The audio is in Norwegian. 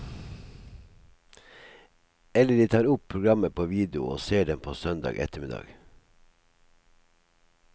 Eller de tar opp programmer på video og ser dem på søndag ettermiddag.